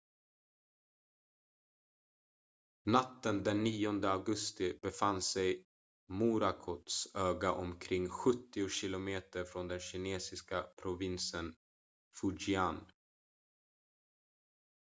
natten den 9 augusti befann sig morakots öga omkring sjuttio kilometer från den kinesiska provinsen fujian